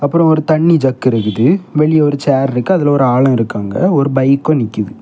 அப்புறம் ஒரு தண்ணி ஜக் இருக்குது வெளியே ஒரு சேர் இருக்கு அதுல ஒரு ஆளு இருக்காங்க ஒரு பைக்கு நிக்கிது.